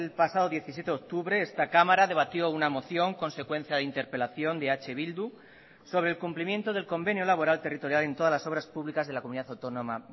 pasado diecisiete de octubre esta cámara debatió una moción consecuencia de interpelación de eh bildu sobre el cumplimiento del convenio laboral territorial en todas las obras públicas de la comunidad autónoma